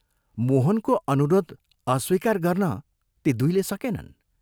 मोहनको अनुरोध अस्वीकार गर्न ती दुइले सकेनन्।